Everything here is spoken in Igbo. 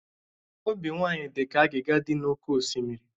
Obi nwanyị dị ka agịga dị n'oké osimiri.